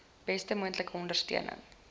beste moontlike ondersteuning